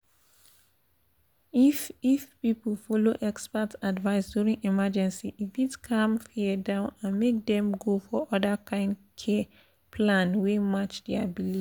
if if people follow expert advice during emergency e fit calm fear down and make dem go for other kind care plan wey match their belief.